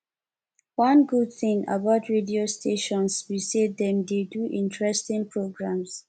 one good thing about radio stations be say dem dey do interesting programs